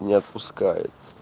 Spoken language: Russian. не отпускай